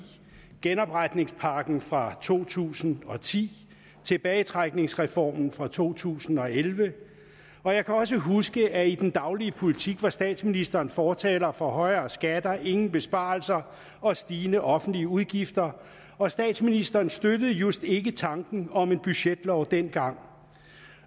genopretningspakken fra to tusind og ti tilbagetrækningsreformen fra to tusind og elleve og jeg kan også huske at i den daglige politik var statsministeren fortaler for højere skatter ingen besparelser og stigende offentlige udgifter og statsministeren støttede just ikke tanken om en budgetlov dengang